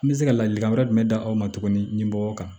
An bɛ se ka ladilikan wɛrɛ jumɛn d'a aw ma tuguni nin mɔgɔw kan